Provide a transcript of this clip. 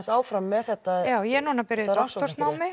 áfram með þetta já ég er núna byrjuð í doktorsnámi